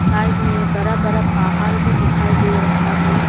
Side में बड़ा बड़ा पहाड़ भी दिखाई दे रहा है।